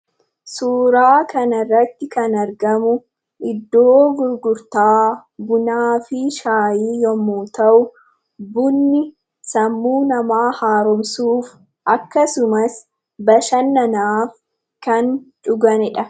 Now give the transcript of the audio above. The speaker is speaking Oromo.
Suuraa kanarratti kan argamu iddoo gurgurtaa bunaa fi shaayii yommuu ta'u, bunni sammuu namaa haaromsuuf, akkasumas bashannanaaf kan dhuganiidha.